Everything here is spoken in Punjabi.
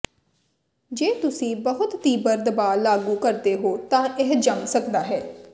ਜੇ ਤੁਸੀਂ ਬਹੁਤ ਤੀਬਰ ਦਬਾਅ ਲਾਗੂ ਕਰਦੇ ਹੋ ਤਾਂ ਇਹ ਜੰਮ ਸਕਦਾ ਹੈ